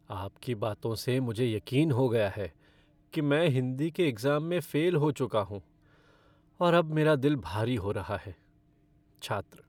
आपकी बातों से मुझे यकीन हो गया है कि मैं हिंदी के एग्ज़ाम में फ़ेल हो चुका हूँ और अब मेरा दिल भारी हो रहा है। छात्र